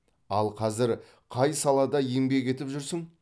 ал қазір қай салада еңбек етіп жүрсің